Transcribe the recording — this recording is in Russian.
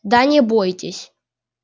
да не бойтесь